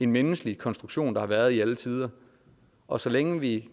menneskelig konstruktion der har været i alle tider og så længe vi